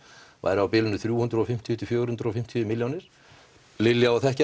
væri á bilinu þrjú hundruð og fimmtíu til fjögur hundruð og fimmtíu milljónir Lilja á að þekkja